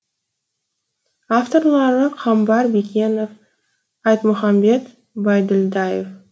авторлары қамбар бекенов айтмұхамбет байділдаев